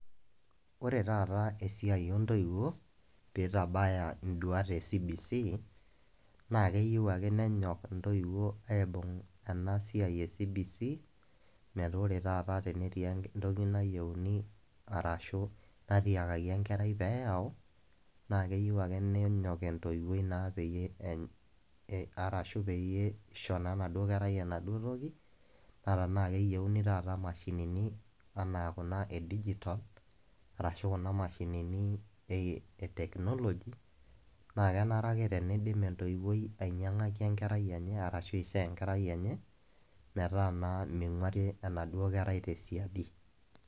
Ore taata esiai o intoiwo, pee eitabaya induata e CBC naa keyiou ake nenyok intoiwo aibung' ena siai e CBC metaa ore taata tenetii entoki nayiouni arashu natiakaki enkerai pee eyau, naa keyiou ake nenyok entoiwoi arashu pee Eton wee enaduo kerai enaduo toki, naa tanaa eyouni taata imashinini anaa Kuna e digitol, arashu Kuna mashinini e Technology naa enare ake neidim entoiwoi ainyang'aki enkerai enye ashu aishoo enkerai enye metaa naa meiguari enaduo kerai te siadi.